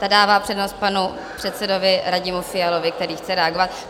Ta dává přednost panu předsedovi Radimu Fialovi, který chce reagovat.